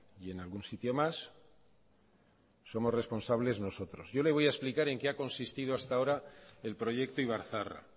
y en algún sitio más somos responsables nosotros yo le voy a explicar en qué ha consistido hasta ahora el proyecto ibar zaharra